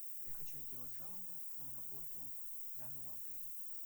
я хочу сделать жалобу на работу данного отеля